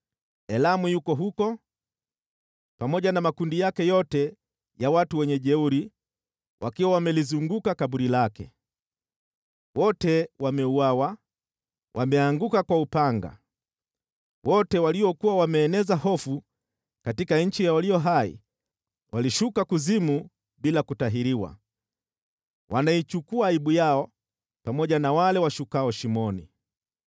“Elamu yuko huko, pamoja na makundi yake yote ya wajeuri wakiwa wamelizunguka kaburi lake. Wote wameuawa, wameanguka kwa upanga. Wote waliokuwa wameeneza hofu katika nchi ya walio hai walishuka kuzimu bila kutahiriwa. Wanaichukua aibu yao pamoja na wale washukao shimoni.